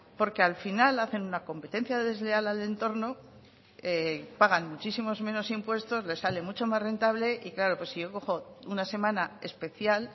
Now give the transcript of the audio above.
porque al final hacen una competencia desleal al entorno pagan muchísimos menos impuestos les sale mucho más rentable y claro pues si yo cojo una semana especial